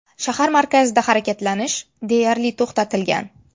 Shahar markazida harakatlanish deyarli to‘xtatilgan.